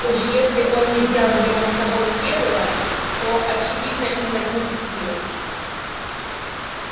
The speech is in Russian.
уж если он не взял его с собой в первый раз то очевидно не возьмёт и теперь